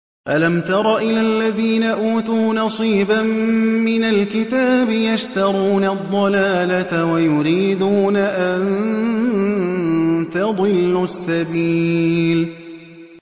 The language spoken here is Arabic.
أَلَمْ تَرَ إِلَى الَّذِينَ أُوتُوا نَصِيبًا مِّنَ الْكِتَابِ يَشْتَرُونَ الضَّلَالَةَ وَيُرِيدُونَ أَن تَضِلُّوا السَّبِيلَ